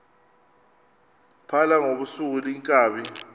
phala ngobusuku iinkabi